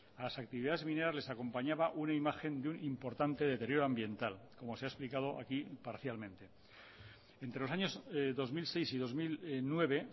a las actividades mineras les acompañaba una imagen de un importante deterioro ambiental como se ha explicado aquí parcialmente entre los años dos mil seis y dos mil nueve